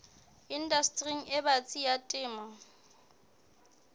indastering e batsi ya temo